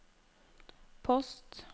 post